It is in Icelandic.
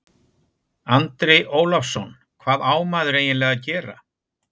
Andri Ólafsson: Hvað á maður eiginlega að gera?